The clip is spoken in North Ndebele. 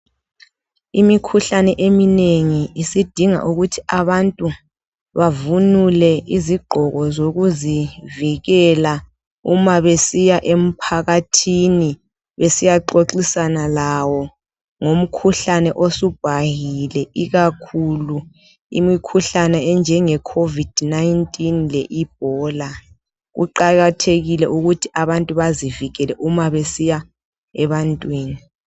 Imikhuhlane eminengi isidinga ukuthi abantu bavunule izigqoko zokuzivikela. Uma besiya emphakathini. Besiyaxoxisana lawo ngemikhuhlane esibhahile, enjeCovid 19 le-Ebola. Kuqakathekile ukuthi abantu bazivikele uma besiya ebantwini.